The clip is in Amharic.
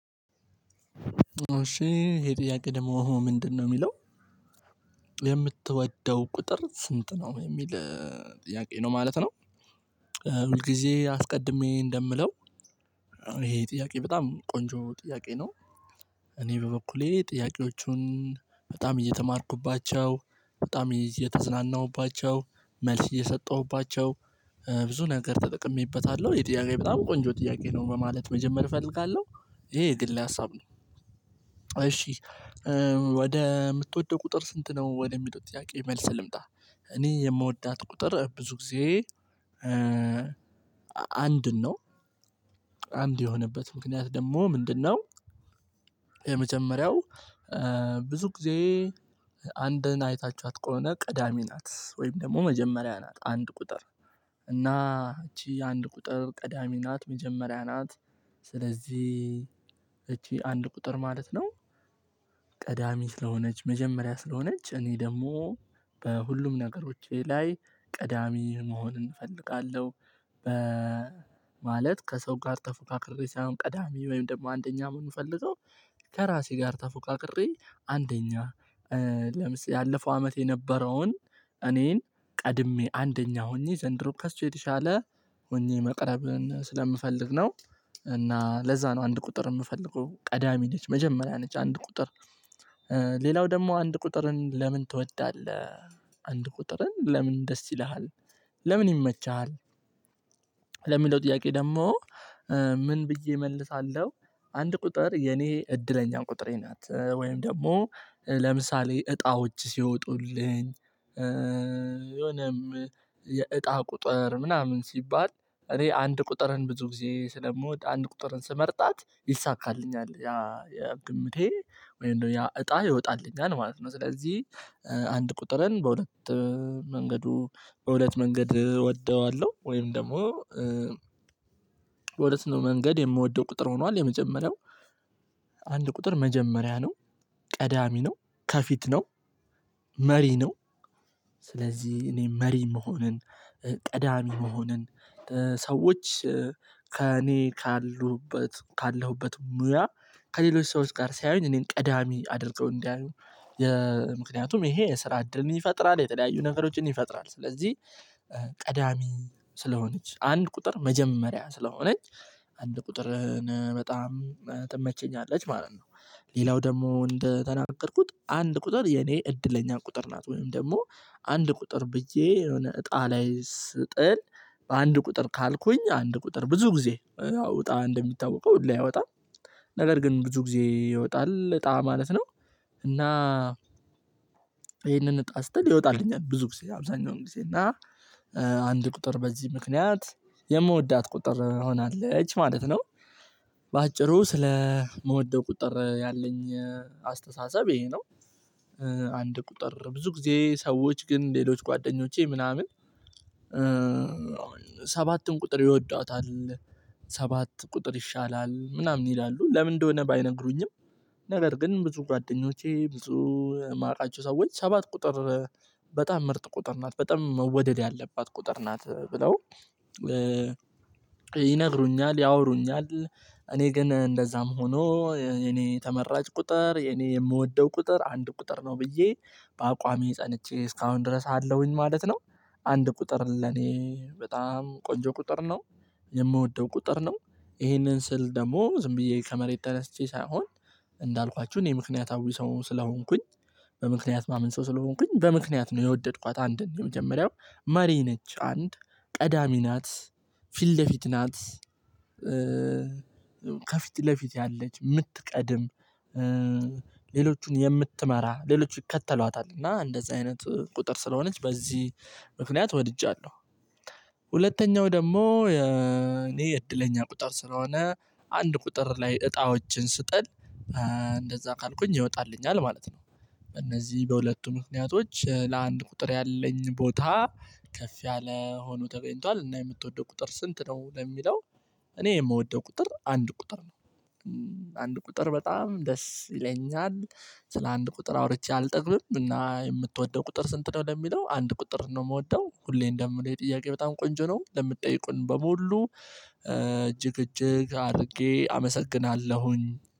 እሺ ዪሄ ጥያቄ ደግሞ ምንድነው የሚለው የምትወደው ቁጥር ስንት ነው የሚል ጥያቄ ነው ማለት ነው። ሁል ጊዜ አስቀድሜ እንደምለው ይሄ ጥያቄ በጣም ቆንጆ ጥያቄ ነው። እኔ በበኩሌ ጥያቄዎቹን በጣም እየተማርኩባቸው በጣም እየተዝናናሁባቸው መልስ እየሰጠሁባቸው ብዙ ነገር ተጠቅሜበታለሁ። ዪሄ ጥያቄ በጣም ቆንጆ ጥያቄ ነው በማለት መጀመር እፈልጋለሁ። ይሄ የግሌ ሀሳብ። ነው እሺ። ወደ የምትወደው ቁጥር ስንት ነው ወደሚለው ጥያቄ መልስ ልምጣ። እኔ የምወዳት ቁጥር ብዙ ጊዜ። አንድን ነው አንድ የሆነበት ምክንያት ደግሞ ምንድነው? የመጀመሪያው ብዙ ጊዜ አንድን አይታችኋት ከሆነ ቀዳሜ ናት። ወይም ደግሞ መጀመሪያ ናት አንድ ቁጥር እና እቺ አንድ ቁጥር ቀዳሚ ናት መጀመሪያ ናት። ስለዚህ እቺ አንድ ቁጥር ማለት ነው። ቀዳሚት ስለሆነች መጀመሪያ ስለሆነች እኔ ደግሞ በሁሉም ነገሮቼ ላይ ቀዳሚ መሆንን እፈልጋለሁ። በ ማለት ከሰው ጋር ተፎካክሬ ሳይሆን ቀዳሚ ወይም ደግሞ አንደኛ የምንፈልገው ከራሴ ጋር ተፎካክሬ አንደኛ ለምሳሌ ያለፈው አመት የነበረውን እኔን ቀድሜ አንደኛ ሆኜ ዘንድሮ ከሱ የተሻለ ሆኜ መቅረብን ስለምፈልግ ነው። እና ለዛ ነው አንድ ቁጥር የምፈልገው ቀዳሚ ነች መጀመሪያ ነች አንድ ቁጥር። ሌላው ደግሞ አንድ ቁጥርን ለምን ትወዳለህ አንድ ቁጥርን ለምን ደስ ይልሃል? ለምን ይመችሃል? ለሚለው ጥያቄ ደግሞ ምን ብዬ እመልሳለሁ። አንድ ቁጥር የኔ እድለኛ ቁጥሬ ናት ወይም ደግሞ ለምሳሌ እጣዎች ሲወጡልኝ። የሆነም የእጣ ቁጥር ምናምን ሲባል እኔ አንድ ቁጥርን ብዙ ጊዜ ስለምወድ አንድ ቁጥርን ስመርጣት ይሳካልኛል። ያ ግምቴ ወይም ደግሞ ያ እጣ ይወጣልኛል ማለት ነው። ስለዚህ አንድ ቁጥርን በሁለት መንገዱ በሁለት መንገድ እወደዋለሁ። ወይም ደግሞ። ሁለት መንገድ የምወደው ቁጥር ሆኗል የመጀመሪያው አንድ ቁጥር መጀመሪያ ነው። ቀዳሚ ነው ከፊት ነው። መሪ ነው። ስለዚህ እኔ መሪ መሆንን ቀዳሚ መሆንን ሰዎች ከእኔ ካሉህበት ካለሁበት ሙያ ከሌሎች ሰዎች ጋር ሳይሆን እኔን ቀዳሚ አድርገው እንዲያዩ የምክንያቱም ይሄ የስራ እድልን ይፈጥራል የተለያዩ ነገሮችን ይፈጥራል። ስለዚህ ቀዳሚ ስለሆነች አንድ ቁጥር መጀመሪያ ስለሆነች አንድ ቁጥርን በጣም ትመቸኛለች ማለት ነው። ሌላው ደግሞ እንደተናገርኩት አንድ ቁጥር የኔ እድለኛ ቁጥር ናት ወይም ደግሞ አንድ ቁጥር ብዬ የሆነ እጣ ላይ ስጥል በአንድ ቁጥር ካልኩኝ አንድ ቁጥር ብዙ ጊዜ አዎ እጣ እንደሚታወቀው ሁሌ አይወጣም። ነገር ግን ብዙ ጊዜ ይወጣል እጣ ማለት ነው። እና ይሄንን እጣ ስጥል ይወጣልኛል ብዙ ጊዜ አብዛኛውን ጊዜ እና አንድ ቁጥር በዚህ ምክንያት የምወዳት ቁጥር ሆናለች ማለት ነው። በአጭሩ ስለምወደው ቁጥር ያለኝ አስተሳሰብ ይሄ ነው። አንድ ቁጥር ብዙ ጊዜ ሰዎች ግን ሌሎች ጓደኞቼ ምናምን ሰባትን ቁጥር ይወዷታል። ሰባት ቁጥር ይሻላል ምናምን ይላሉ ለምን እንደሆነ ባይነግሩኝም። ነገር ግን ብዙ ጓደኞቼ ብዙ የማውቃቸው ሰዎች ሰባት ቁጥር በጣም ምርጥ ቁጥር ናት በጣም መወደድ ያለባት ቁጥር ናት ብለው። ይነግሩኛል ያወሩኛል። እኔ ግን እንደዛም ሆኖ እኔ ተመራጭ ቁጥር እኔ የምወደው ቁጥር አንድ ቁጥር ነው ብዬ በአቋሜ ፀንቼ እስካሁን ድረስ አለሁኝ ማለት ነው። አንድ ቁጥር ለኔ በጣም ቆንጆ ቁጥር ነው። የምወደው ቁጥር ነው ይሄንን ስል ደግሞ ዝም ብዬ ከመሬት ተነስቼ ሳይሆን። እንዳልኳችሁ እኔ ምክንያታዊ ሰው ስለሆንኩኝ። በምክንያት የማምን ሰው ስለሆንኩኝ በምክንያት ነው የወደድኳት አንድን የመጀመሪያው መሪ ነች አንድ ቀዳሚ ናት ፊት ለፊት ናት። ከፊት ለፊት ያለች የምትቀድም ሌሎቹን የምትመራ ሌሎች ይከተሏታል እና እንደዚህ አይነት ቁጥር ስለሆነች በዚህ ምክንያት ወድጃለሁ። ሁለተኛው ደግሞ እኔ እድለኛ ቁጥር ስለሆነ አንድ ቁጥር ላይ እጣዎችን ስጥል እንደዛ ካልኩኝ ይወጣልኛል ማለት ነው። እነዚህ በሁለቱ ምክንያቶች ለአንድ ቁጥር ያለኝ ቦታ ከፍ ያለ ሆኖ ተገኝቷል። እና የምትወደው ቁጥር ስንት ነው? ለሚለው እኔ የምወደው ቁጥር አንድ ቁጥር ነው። አንድ ቁጥር በጣም ደስ ይለኛል ስለ አንድ ቁጥር አውርቼ አልጠግብም። እና የምትወደው ቁጥር ስንት ነው? ለሚለው አንድ ቁጥር ነው የምወደው ሁሌ እንደምለው የጥያቄ በጣም ቆንጆ ነው። ለምትጠይቁን በሙሉ እጅግ እጅግ አድርጌ አመሰግናለሁኝ።